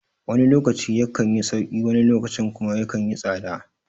Wani lokacin ya kanyi sauƙi wani lokacin kuma yakan yi tsada